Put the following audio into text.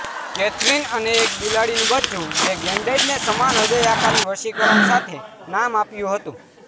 Catherine અને એક બિલાડીનું બચ્ચું જે ગૅન્ડેડને સમાન હ્રદય આકારની વશીકરણ સાથે નામ આપ્યું હતું